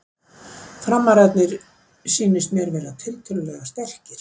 Framararnir sýnist mér vera tiltölulega sterkir.